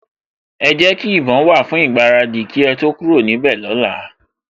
Ẹ jẹ́ kí ìbọn wà fún ìgbáradì kí ẹ tó kúrò níbẹ̀ lọ́la